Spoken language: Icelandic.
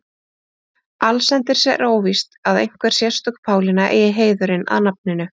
Allsendis er óvíst að einhver sérstök Pálína eigi heiðurinn að nafninu.